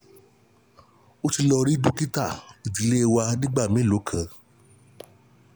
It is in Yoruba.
Ó ti lọ rí dókítà ìdílé wa nígbà mélòó kan